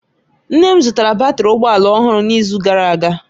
Nne m zụtara batrị ụgbọ ala ọhụrụ n'izu gara aga